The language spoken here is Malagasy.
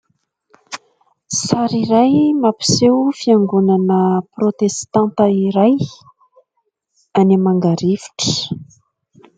Sary iray mampiseho fiaingonana protestanta iray any Mangarivotra.